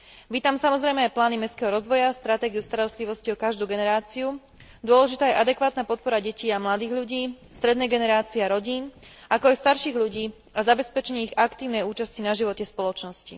Vítam, samozrejme, aj plány mestského rozvoja, stratégiu starostlivosti o každú generáciu, dôležitá je adekvátna podpora detí a mladých ľudí, strednej generácie a rodín, ako aj starších ľudí zabezpečením ich aktívnej účasti na živote spoločnosti.